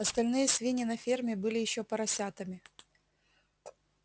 остальные свиньи на ферме были ещё поросятами